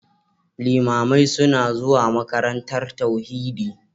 Limamai suna zuwa makarantar tauhidi